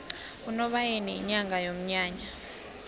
unobayeni yinyanga yomnyanya